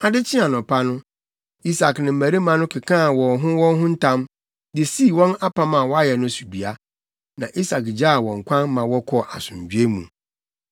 Ade kyee anɔpa no, Isak ne mmarima no kekaa wɔn ho wɔn ho ntam, de sii wɔn apam a wɔayɛ no so dua. Na Isak gyaa wɔn kwan ma wɔkɔɔ asomdwoe mu.